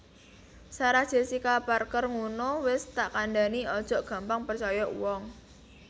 Sarah Jessica Parker ngunu wes tak kandhani ojok gampang percoyo uwong